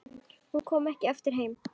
Hún kom ekki aftur heim.